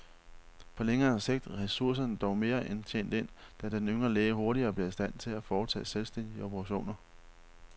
På længere sigt er ressourcerne dog mere end tjent ind, da den yngre læge hurtigere bliver i stand til at foretage selvstændige operationer.